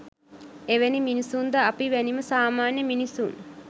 එවැනි මිනිසුන්ද අපි වැනිම සාමාන්‍ය මිනිසුන්